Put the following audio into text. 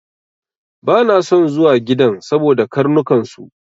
Bana son zuwa gidan saboda karnukan su.